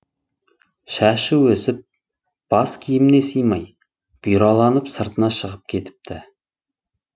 шашы өсіп бас киіміне сыймай бұйраланып сыртына шығып кетіпті